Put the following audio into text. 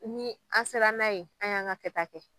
Ni an sera n'a ye an y'an ka kɛ ta kɛ.